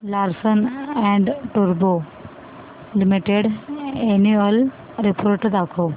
Larsen and टुर्बो limited annual report दाखव